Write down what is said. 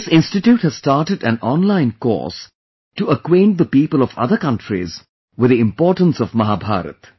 This institute has started an online course to acquaint the people of other countries with the importance of Mahabharata